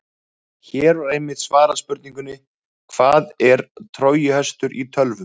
Hér var einnig svarað spurningunni: Hvað er trójuhestur í tölvum?